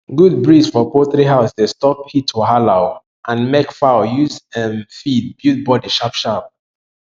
good breeze for poultry house dey stop heat wahala um and make fowl use um feed build body sharpsharp